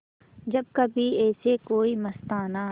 जब कभी ऐसे कोई मस्ताना